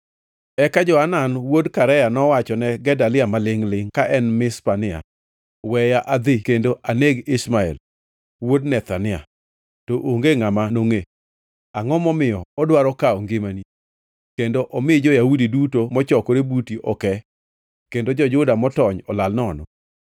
Eka Johanan wuod Karea nowachone Gedalia malingʼ-lingʼ ka en Mizpa niya, “Weya adhi kendo aneg Ishmael wuod Nethania, to onge ngʼama nongʼe. Angʼo momiyo odwaro kawo ngimani kendo omi jo-Yahudi duto mochokore buti oke kendo jo-Juda motony olal nono?”